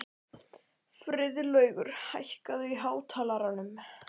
Friðlaugur, hækkaðu í hátalaranum.